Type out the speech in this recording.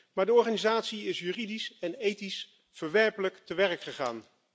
Maar de organisatie is juridisch en ethisch verwerpelijk te werk gegaan.